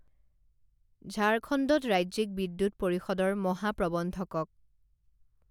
ঝাৰখণ্ডত ৰাজ্যিক বিদ্যুৎ পৰিষদৰ মহাপ্ৰৱন্ধকক